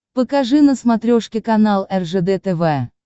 покажи на смотрешке канал ржд тв